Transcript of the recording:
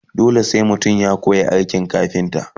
dole sai mutum ya koya aikin kafinta?